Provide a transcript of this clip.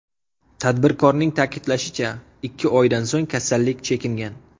Tadbirkorning ta’kidlashicha, ikki oydan so‘ng kasallik chekingan.